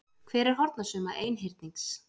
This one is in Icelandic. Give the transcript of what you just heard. Hver er hornasumma einhyrnings?